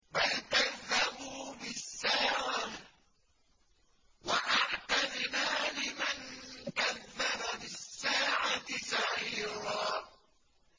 بَلْ كَذَّبُوا بِالسَّاعَةِ ۖ وَأَعْتَدْنَا لِمَن كَذَّبَ بِالسَّاعَةِ سَعِيرًا